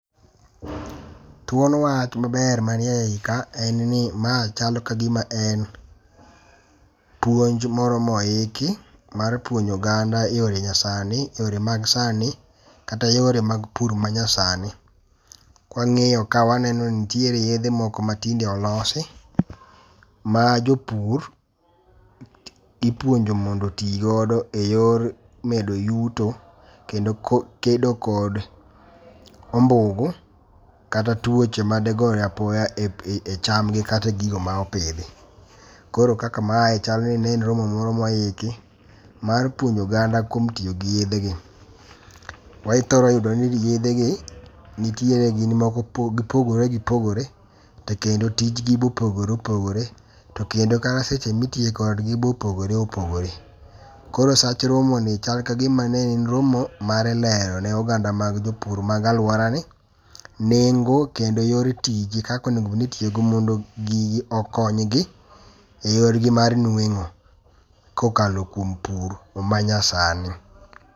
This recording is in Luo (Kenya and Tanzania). Thuon wach maber manie yie ka en ni ma chalo kagima en puonj moro mo oki mar puonjo oganda e yore nyasani e yore mag sani kata yore mag pur ma nyasani. Kwang'iyo ka waneno nitiere yedhe moko matinde olosi ma jopur ipuonjo mondo oti godo e yor medo yuto kendo kedo kod ombugu kata tuoche madegore apoya e cham gi kata e gigo ma opidhi. Koro kaka ma chal ni ne en romo moro mo iki mar puonjo oganda kuom tiyo gi yedhe gi. Waithoro yudi ni yedhegi nitiere gin moko gipogore gipogore to kendo tijgi bo opogore opogore. To kendo kata seche miteye kod gi be opogore opogore. Koro sach romo ni chal ka gima ne en romo mar lero ne oganda mag jopur mag aluora ni nengo kendo yor tij kako onengo iyiyoogodo mondo gigi okonygi e yor gi mar nueng'o kokalo kuom pur manyasani.